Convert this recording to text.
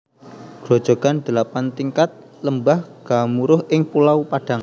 Grojogan Delapan Tingkat Lembah Gemuruh ing Pulau Padang